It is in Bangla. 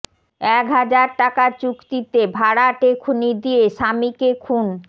এক হাজার টাকা চুক্তিতে ভাড়াটে খুনি দিয়ে স্বামীকে খুন